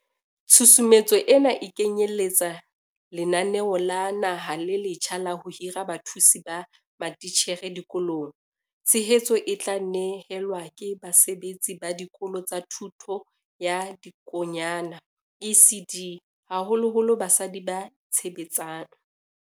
Tshusumetso ena e kenyele tsa lenaneo la naha le letjha la ho hira bathusi ba matitjhere dikolong. Tshehetso e tla ne helwa ke basebetsi ba Dikolo tsa Thuto ya Dikonyana, ECD, haholoholo basadi ba itshebetsang.